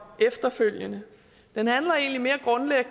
efterfølgende den handler egentlig